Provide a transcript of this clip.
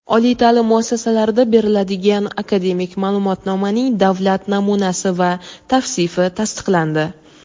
oliy taʼlim muassasalarida beriladigan akademik maʼlumotnomaning davlat namunasi va tavsifi tasdiqlandi.